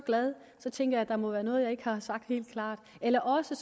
glad så tænker jeg at der må være noget jeg ikke har sagt helt klart eller også